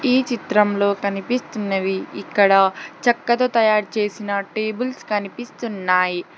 ఈ చిత్రంలో కనిపిస్తున్నవి ఇక్కడ చెక్కతో తయారు చేసిన టేబుల్స్ కనిపిస్తున్నాయి.